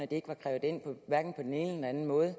det ikke var krævet ind på hverken den ene eller anden måde